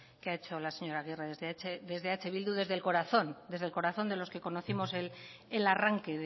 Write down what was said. que ha hecho la señora agirre desde eh bildu desde el corazón de los que conocimos el arranque